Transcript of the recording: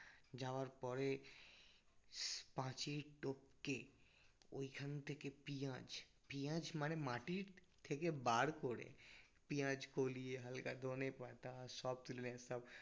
যাওয়ার পরে পাঁচিল টপকে ওইখান থেকে পিঁয়াজ পিঁয়াজ মানে মাটির থেকে বার করে পিঁয়াজ কলিয়ে হালকা ধনেপাতা সব তুললাম সব